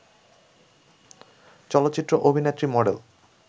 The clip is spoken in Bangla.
চলচ্চিত্র অভিনেত্রী, মডেল